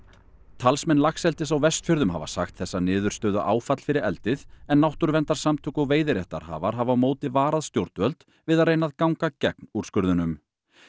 talsmenn laxeldis á Vestfjörðum hafa sagt þessa niðurstöðu áfall fyrir eldið en náttúruverndarsamtök og veiðiréttarhafar hafa á móti varað stjórnvöld við að reyna að ganga gegn úrskurðunum